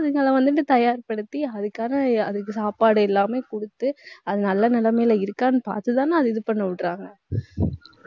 அதுகள வந்துட்டு தயார்படுத்தி, அதுக்கான அதுக்கு சாப்பாடு எல்லாமே குடுத்து, அது நல்ல நிலைமைல இருக்கான்னு பாத்துதானே, அதை இது பண்ண விடுறாங்க